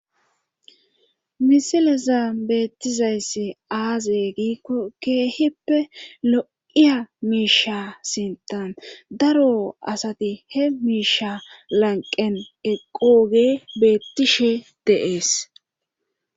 Misileza beettizayssi aaze giiko keehippe lo7iya miisha sintan daro asati he miisha lanqen eqqoge beettishe de7ees.